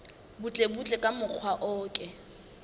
butlebutle ka mokgwa o ke